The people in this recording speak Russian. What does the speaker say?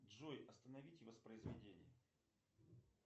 джой остановите воспроизведение